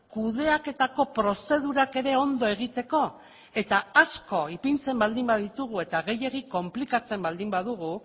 kudeaketako prozedurak ere ondo egiteko eta asko ipintzen baldin baditugu eta gehiegi konplikatzen baldin badugu